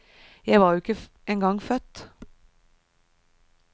Jeg var jo ikke en gang født.